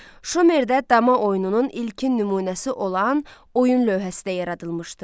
Şumerdə dama oyununun ilkin nümunəsi olan oyun lövhəsi də yaradılmışdı.